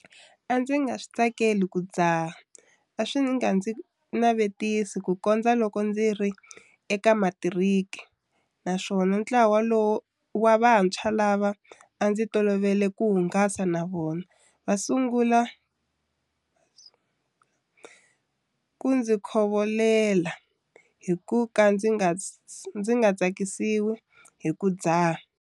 A ndzi nga swi tsakeli ku dzaha a swi nga ndzi navetisi kukondza loko ndzi ri eka matiriki naswona ntlawa vantshwa lava a ndzi tolovele ku hungasa na vona va sungule ku ndzi khovolela hi ku ka ndzi nga tsakisiwi hi ku dzaha.